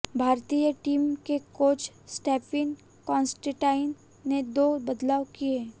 भारतीय टीम के कोच स्टीफन कांस्टेनटाइन ने दो बदलाव किए